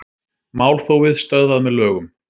Málþófið stöðvað með lögum